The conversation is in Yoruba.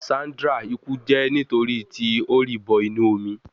Sandra iku je nitori ti o ri bo inu omi